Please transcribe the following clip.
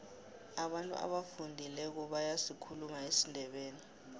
abantu abafundileko bayasikhuluma isindebele